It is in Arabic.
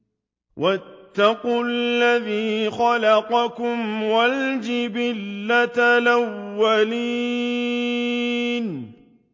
وَاتَّقُوا الَّذِي خَلَقَكُمْ وَالْجِبِلَّةَ الْأَوَّلِينَ